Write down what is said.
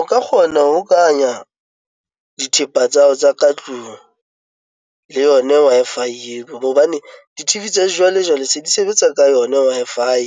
O ka kgona ho hokanya dithepa tsa hao tsa ka tlung le yona Wi-Fi eo hobane di-T_V tsa jwalejwale se di sebetsa ka yona Wi-Fi